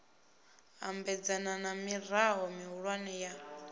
ambedzana na mirao mihulwane ya